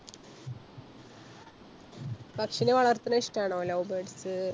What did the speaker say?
പക്ഷിനെ വളർത്തുന്നത് ഇഷ്ടം ആണോ Love Birds സ്സ്?